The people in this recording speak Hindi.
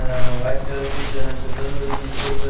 अअ वाइट कलर के च चद्दर वगैरह बिछे हुए--